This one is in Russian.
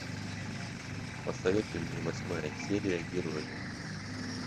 посоветуй мне восьмая серия герои